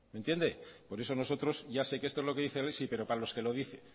me entiende por eso nosotros ya sé que esto es lo que dice él sí pero para los que lo dice